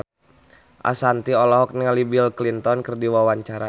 Ashanti olohok ningali Bill Clinton keur diwawancara